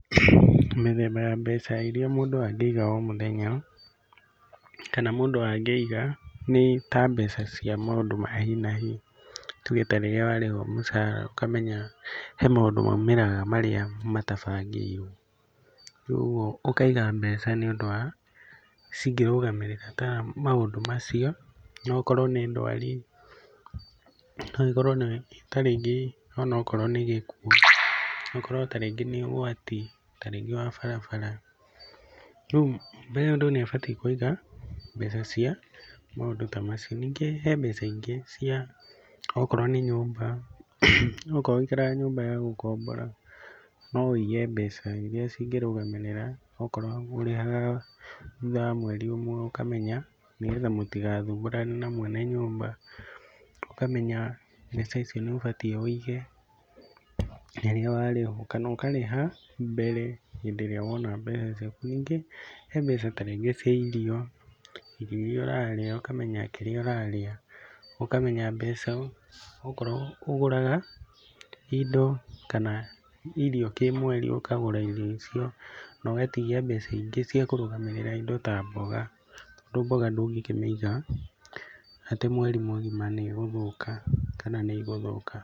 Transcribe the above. Mĩthemba ya mbeca iria mũndũ angĩiga o mũthenya, kana mũndũ angĩiga, nĩ ta mbeca cia maũndũ ma hi na hi. Tuge ta rĩrĩa warĩhwo mũcara ũkamenya he maũndũ maumagĩra marĩa matabangĩirwo, rĩu ũguo ũkiga mbeca nĩ ũndũ cingĩrũgamĩrĩra ta maũndũ macio, no okorwo nĩ ndwari, no okorwo nĩ ta rĩngĩ onokorwo nĩ gĩkuũ, okorwo ta rĩngĩ nĩ ũgwati ta rĩngĩ wa barabara. Rĩu mũndũ nĩ abatiĩ kũiga mbeca cia mũndũ ta macio. Ningĩ he mbeca ingĩ cia okorwo nĩ nyũmba, okorwo ũikaraga nyũmba ya gũkombora, no ũige mbeca iria cingĩrũgamĩrĩra okorwo ũrĩhaga thutha wa mweri ũmwe, ũkamenya nĩ getha mũtigathumbũrane na mwene nyũmba, ũkamenya mbeca icio nĩ ũbatiĩ ũige na rĩrĩa warĩhwo, kana ũkarĩha mbere, hĩndĩ ĩrĩa wona mbeca ciaku. Nĩngĩ hena mbeca ta rĩngĩ cia irio, irio iria ũrarĩa ũkamenya kĩrĩa urarĩa, ũkamenya mbeca okorwo ũgũraga indo kana irio kĩmweri ũkagũra iio icio no ũgatigia mbeca ingĩ cia kũrũgamĩrĩra indo ta mboga, tondũ mboga ndũkĩkĩmĩiga atĩ mweri mũgima nĩ ĩgũthũka kana nĩ igũthũka.